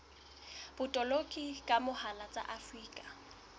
botoloki ka mohala tsa afrika